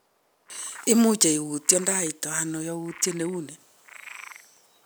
Imuche iutiendoito ano yautiet ne u ni?